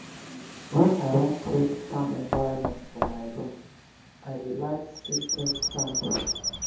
wen i wan create calm environment for my room i dey light scented candle.